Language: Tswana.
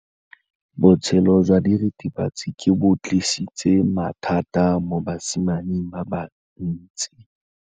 Botshelo jwa diritibatsi ke bo tlisitse mathata mo basimaneng ba bantsi.